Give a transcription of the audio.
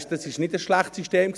Es war kein schlechtes System.